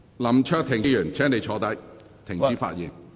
林卓廷議員，請坐下，停止發言。